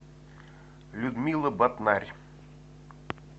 людмила батнарь